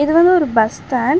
இது வந்து ஒரு பஸ் ஸ்டாண்ட் .